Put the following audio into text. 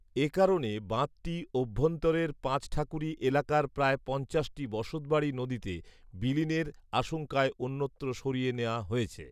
এ কারণে বাঁধটি অভ্যন্তরের পাচঠাকুরি এলাকার প্রায় পঞ্চাশটি বসতবাড়ি নদীতে বিলীনের আশংকায় অন্যত্র সরিয়ে নেয়া হয়েছে